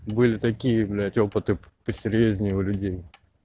были такие блять опыты посерьёзнее у людей